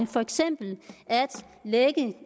for eksempel være